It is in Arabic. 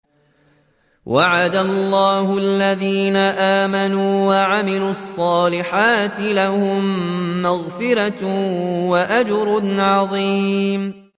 وَعَدَ اللَّهُ الَّذِينَ آمَنُوا وَعَمِلُوا الصَّالِحَاتِ ۙ لَهُم مَّغْفِرَةٌ وَأَجْرٌ عَظِيمٌ